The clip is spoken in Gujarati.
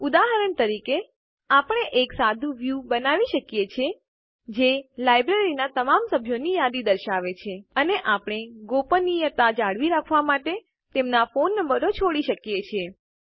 ઉદાહરણ તરીકે આપણે એક સાદું વ્યું બનાવી શકીએ છીએ જે લાઈબ્રેરીનાં તમામ સભ્યોની યાદી દર્શાવશે અને આપણે ગોપનીયતા જાળવી રાખવા માટે તેમનાં ફોન નંબરો છોડી શકીએ છીએ